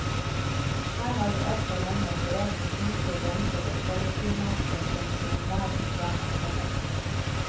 Her har vi altfor lenge operert med kunstige grenser i et kollektivmarked som i enhver forstand er felles.